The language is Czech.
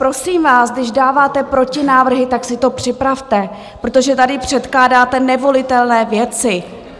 Prosím vás, když dáváte protinávrhy, tak si to připravte, protože tady předkládáte nevolitelné věci!